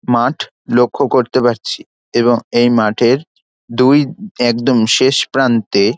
মাঠ লক্ষ্য করতে পারছি এবং এই মাঠের দুই একদম শেষ প্রান্তে--